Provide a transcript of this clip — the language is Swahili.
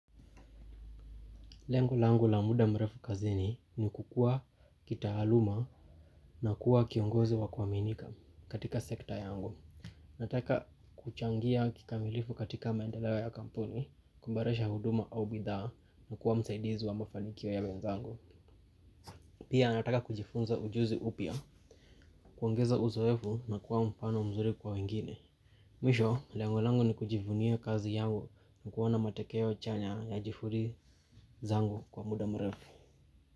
Lengo langu la muda mrefu kazini ni kukuwa kitaaluma na kuwa kiongozi wa kuaminika katika sekta yangu. Nataka kuchangia kikamilifu katika maendeleo ya kampuni kuboresha huduma au bidhaa na kuwa msaidizi wa mafanikio ya wenzangu. Pia nataka kujifunza ujuzi upya, kuongeza uzoefu na kuwa mfano mzuri kwa wengine. Mwisho, lengo langu ni kujivunia kazi yangu na kuona matokeo chanya ya juhudi zangu kwa muda mrefu.